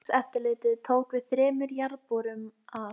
Hann þagði og í bakgrunni heyrðust taktfastir smellir.